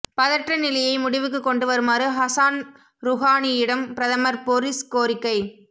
பதற்றநிலையை முடிவுக்கு கொண்டு வருமாறு ஹசான் ருஹானியிடம் பிரதமர் பொரிஸ் கோரிக்கை